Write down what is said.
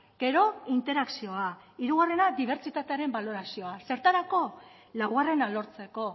gero interakzioa hirugarrena dibertsitatearen balorazioa zertarako laugarrena lortzeko